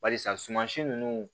Barisa suman si nunnu